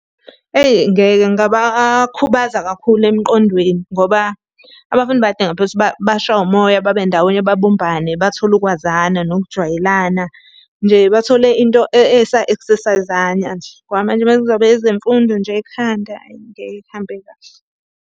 Eyi ngeke kungabakhubaza kakhulu emqondweni, ngoba abafundi bayadinga phela ukuthi bashaywe umoya babendawonye babumbane, bathole ukwazana, nokujwayelana. Nje bathole into esa-exercise-ana nje, ngoba manje uma kuzobekwa ezemfundo nje ekhanda, hhayi ngeke kuhambe kahle.